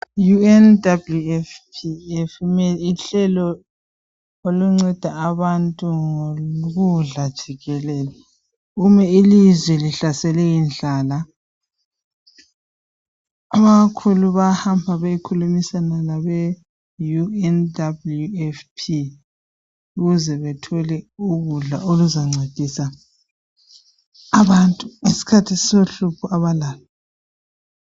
IU NWFP luhlelo oluncenda abantu ngokudla jikelele nxa ilizwe lihlaselwe yindlala abakhulu bayahamba beyekhulumisana labe UNWFP ukuze bathole ukudla okuzancedisa abantu ngesikhathi sohlupho abalalo